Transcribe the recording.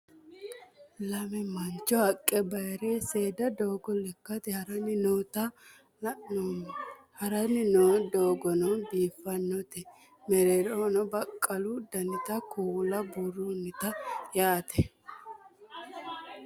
Lamme mannicho haqqe baayirre seeda dooggo lekkate harranni noota la'nnemo harranni noo dooggono biiffanote meerrerohono baqqalu dannitta kuula buurronnitte yaatte